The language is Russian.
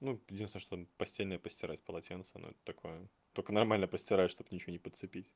ну единственное что постельное постирать полотенца но это такое только нормально постирать чтобы ничего не подцепить